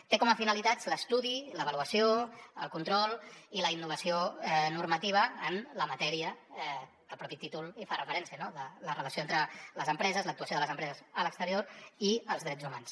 té com a finalitats l’estudi l’avaluació el control i la innovació normativa en la matèria a què el propi títol fa referència no la relació entre les empreses l’actuació de les empreses a l’exterior i els drets humans